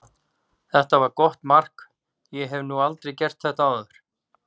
Þetta var gott mark, ég hef nú aldrei gert þetta áður.